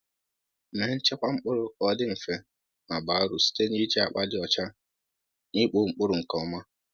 Mee nchekwa mkpụrụ ka ọ dị mfe ma baa uru site n’iji akpa dị ọcha na ikpo mkpụrụ nke ọma.